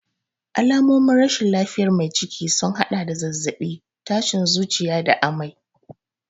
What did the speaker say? Alamomin rashin lafiyar mai ciki sun haɗa da zazzabi, tashin zuciya da amai.